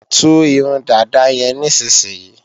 Tú irun dàda yẹn nísinsìnyí!